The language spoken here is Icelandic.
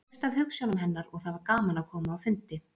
Ég hreifst af hugsjónum hennar og það var gaman að koma á fundi.